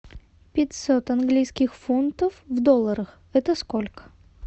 пятьсот английских фунтов в долларах это сколько